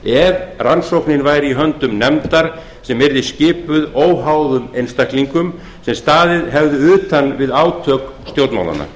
ef rannsóknin væri í höndum nefndar sem yrði skipuð óháðum einstaklingum sem staðið hefðu utan við átök stjórnmálanna